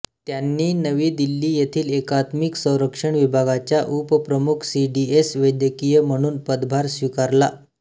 त्यांनी नवी दिल्ली येथील एकात्मिक संरक्षण विभागाच्या उपप्रमुख सीडीएस वैद्यकीय म्हणून पदभार स्वीकारला